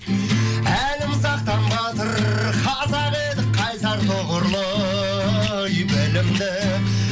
әлімсақтан батыр қазақ едік қайсар тұғырлы ай білімді